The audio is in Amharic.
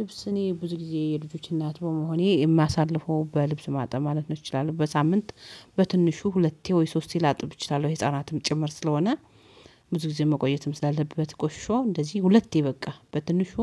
ልብስ እኔ ብዙ ጊዜ የልጆችን እናት መሆኔ የማሳልፈው በልብስ ማጠብ ማለት ይችላል በሳምንት በትንሹ ሁለቴ ወይ ሶስቴ ላጥብ እችላለሁ። የህፃናትም ጭምር ስለሆነ ብዙ ጊዜ መቆየትም ስላለበት ቆሾ እንደዚህ ሁለቴ በቃ በትንሹ